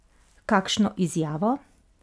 Kakšno izjavo?